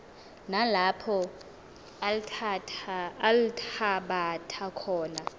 nalapho althabatha khona